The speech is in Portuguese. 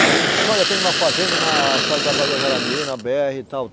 Aí ele disse, olha, tem uma fazenda na estrada que vai para Guajará-Mirim, na bê erre e tal.